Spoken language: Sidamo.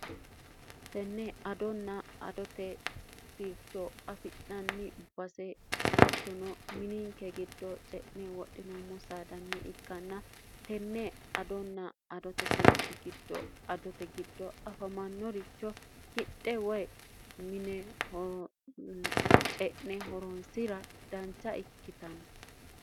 tenne adonna adote sircho afi'nanni base attono mininke giddoo ce'ne woxinoommo saadanni ikkanna tenne adonna adote sirchi giddoadote giddoo afamannoricho hidhe woy mine ce'ne horoonsira dancha ikkitanno